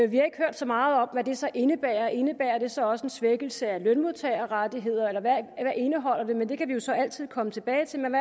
så meget om hvad det så indebærer indebærer det så også en svækkelse af lønmodtagerrettigheder eller hvad indholder det det kan vi jo så altid komme tilbage til men